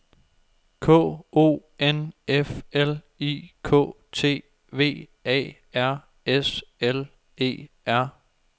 K O N F L I K T V A R S L E R